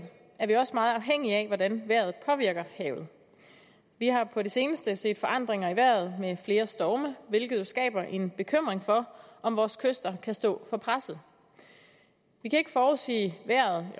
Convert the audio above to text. er vi også meget afhængige af hvordan vejret påvirker havet vi har på det seneste set forandringer i vejret med flere storme hvilket jo skaber en bekymring for om vores kyster kan stå for presset vi kan ikke forudsige vejret